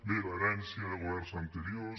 bé l’herència de governs anteriors